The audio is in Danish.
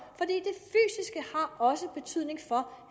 også betydning for